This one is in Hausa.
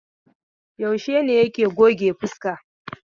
Yaushe ne yake goge fuska?